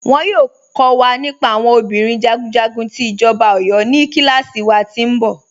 Wọn yọọ kọ̀ wa nípà àwọn obìnrin jagunjagun ti Ijọba Ọ̀yọ̀ ní kílàsí wà tí nbọ̀.